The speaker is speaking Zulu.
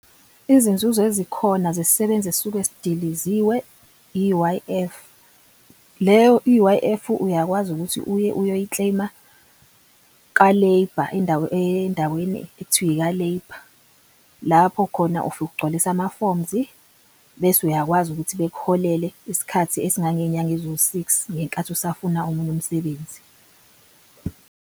Izinzuzo ezikhona zesisebenzi esisuke sidiliziwe i-U_I_F. Leyo i-U_I_F uyakwazi ukuthi uye uyoyi-claim-a ka-labour endaweni endaweni ekuthiwa ika-labour. Lapho khona ufike ugcwalise ama-forms bese uyakwazi ukuthi bekuholele isikhathi esingangenyanga eziwu-six ngenkathi usafuna omunye umsebenzi.